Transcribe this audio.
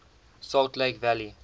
salt lake valley